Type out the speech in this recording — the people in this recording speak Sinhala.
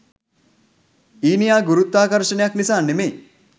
ඊනියා ගුරුත්වාකර්ශනයක් නිසා නෙමෙයි.